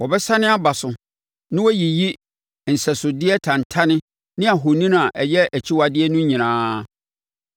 “Wɔbɛsane aba so na wɔayiyi nsɛsodeɛ tantane ne ahoni a ɛyɛ akyiwadeɛ no nyinaa.